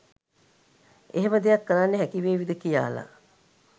එහෙම දෙයක් කරන්න හැකිවේවිද කියාලා